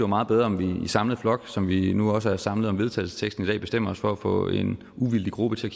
meget bedre om vi i samlet flok som vi nu også er samlet om vedtagelse i dag bestemmer os for at få en uvildig gruppe til at